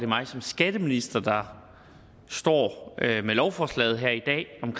mig som skatteminister der står med lovforslaget her i dag om